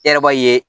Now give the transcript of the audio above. E yɛrɛ b'a ye